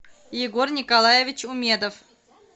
егор николаевич умедов